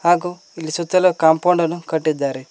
ಹಾಗು ಇಲ್ಲಿ ಸುತ್ತಲು ಕಾಂಪೌಂಡ್ ಅನ್ನು ಕಟ್ಟಿದ್ದಾರೆ.